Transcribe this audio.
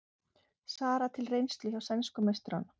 Sara til reynslu hjá sænsku meisturunum